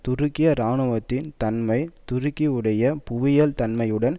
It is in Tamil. துருக்கிய இராணுவத்தின் தன்மை துருக்கியுடைய புவியியல் தன்மையுடன்